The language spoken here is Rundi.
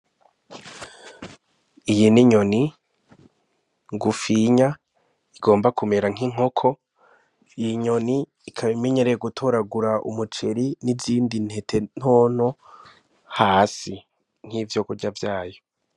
Iyi ni inyoni ngufinya igomba kumera nk'inkoko, iyi nyoni ikaba imenyereye gutoragura umuceri n'izindi ntete ntoto hasi nk'ivyokurya vyayo.